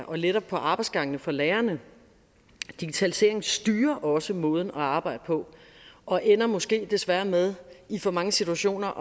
og letter på arbejdsgangene for lærerne digitaliseringen styrer også måden at arbejde på og ender måske desværre med i for mange situationer